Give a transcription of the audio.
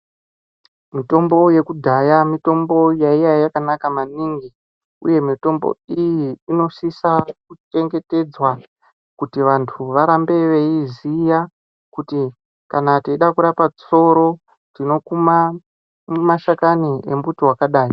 Mitombo yekudhaya mitombo yaiva yakanaka maningi, uye mitombo iyi inosisa kuchengetedzwa kuti vantu varambe veiiziya kuti kana teida kurapa tsoro tinokuma mashakani embuti wakadai.